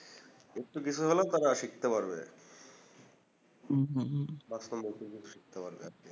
একটু কিছু হলেও তারা শিখতে পারবে হুম হুম বা সুন্দর কিছু শিখতে পারবে আরকি